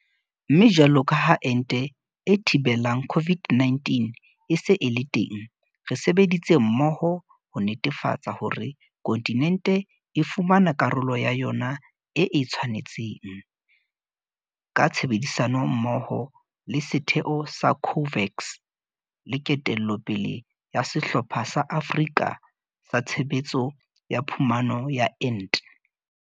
Mme jwalo ka ha ente e thibelang COVID-19 e se e le teng, re sebeditse mmoho ho netefatsa hore kontinente e fumana karolo ya yona e e tshwanetseng, ka tshebedisano mmoho le setheo sa COVAX le ketello pele ya Sehlopha sa Afrika sa Tshebetso ya Phumano ya Ente.